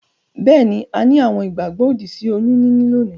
Beeni, a ni àwon ìgbàgbó òdì sí oyún níní lónìí